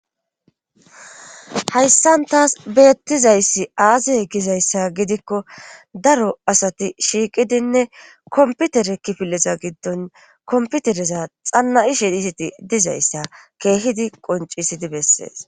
Hayssan taas beettizayssi aaze gizayssa gidikko daro asati shiiqidinne komputere kifileza giddon komputereza xanna ishe diziti dizayssa keehidi qoncisidi bessees.